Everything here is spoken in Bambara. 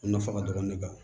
A nafa ka dɔgɔ ne kan